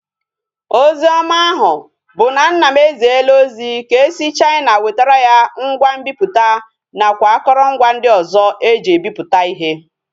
Ozi oma ahu bu na nna m eziela ozi ka esi na china wetara ya ngwa nbiputa na kwa akorongwa ndi ozo eji ebiputa ihe